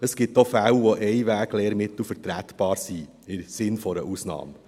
Es gibt auch Fälle, in denen Einweglehrmittel im Sinn einer Ausnahme vertretbar sind.